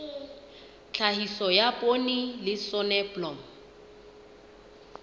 tlhahiso ya poone le soneblomo